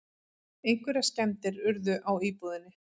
Einhverjar skemmdir urðu á íbúðinni